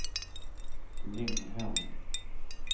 Linghem